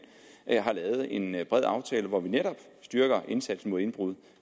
har lavet en bred aftale hvor vi netop styrker indsatsen mod indbrud